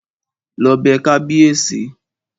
Lọ bẹ kábíèsí!